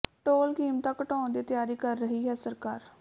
toll ਕੀਮਤਾਂ ਘਟਾਉਣ ਦੀ ਤਿਆਰੀ ਕਰ ਰਹੀ ਹੈ ਸਰਕਾਰ